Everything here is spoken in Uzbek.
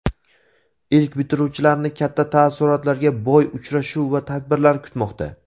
Ilk bitiruvchilarni katta taassurotga boy uchrashuv va tadbirlar kutmoqda.